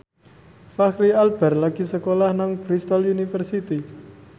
Fachri Albar lagi sekolah nang Bristol university